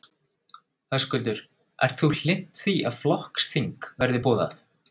Höskuldur: Ert þú hlynnt því að flokksþing verði boðað?